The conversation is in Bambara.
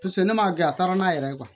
Paseke ne m'a kɛ a taara n'a yɛrɛ ye